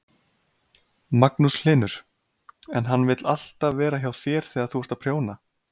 Magnús Hlynur: En hann vill alltaf vera hjá þér þegar þú ert að prjóna?